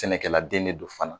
Sɛnɛkɛladen de don fana